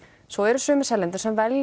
svo eru sumir seljendur sem velja